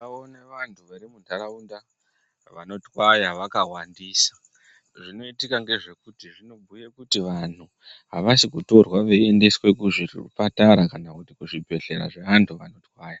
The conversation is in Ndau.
Ndakaona vanhu vari munharaunda vanotwaya vakawandisa. Zvinoitika ndezvekuti zvinobhuya kuti vantu avasi kutorwa veiendeswa kuzvipatara, kuzvibhedhlera zveantu aya.